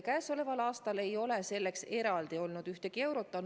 Käesoleval aastal ei ole selleks eraldi olnud ühtegi eurot.